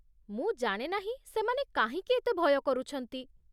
ମୁଁ ଜାଣେ ନାହିଁ ସେମାନେ କାହିଁକି ଏତେ ଭୟ କରୁଛନ୍ତି ।